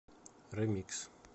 ремикс